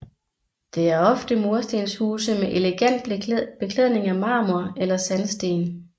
Det er ofte murstenshuse med elegant beklædning af marmor eller sandsten